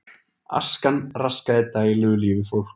Askan raskaði daglegu lífi fólks